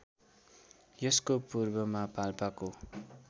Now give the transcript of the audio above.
यसको पूर्वमा पाल्पाको